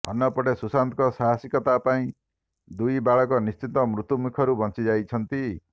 ଅନ୍ୟପଟେ ସୁଶାନ୍ତଙ୍କ ସାହସିକତା ପାଇଁ ଦୁଇ ବାଳକ ନିଶ୍ଚିତ ମୃତ୍ୟୁମୁଖରୁ ବଞ୍ଚି ଯାଇଛନ୍ତି